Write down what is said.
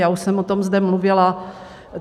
Já už jsem o tom zde mluvila.